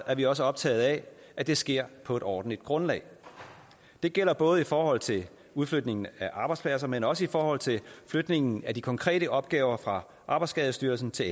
er vi også optagede af at det sker på et ordentligt grundlag det gælder både i forhold til udflytningen af arbejdspladser men også i forhold til flytningen af de konkrete opgaver fra arbejdsskadestyrelsen til